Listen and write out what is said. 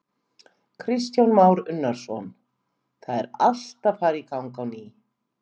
Kristján Már Unnarsson: Það er allt að fara í gang á ný?